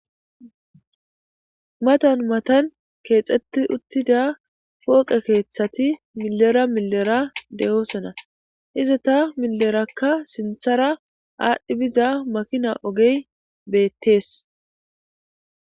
Matan matan keexxetti uttida fooqe keeththati milera milera de'oosona iza ta milerakka sinthara aadhdhi biza makina ogey beettees.